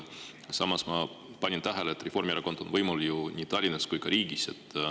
Samas, Reformierakond on võimul ju nii Tallinnas kui ka riigis.